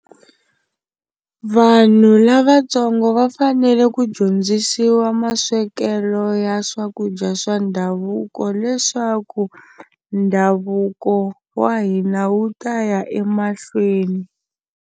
Vanhu lavatsongo va fanele ku dyondzisiwa maswekelo ya swakudya swa ndhavuko leswaku ndhavuko wa hina wu ta ya emahlweni.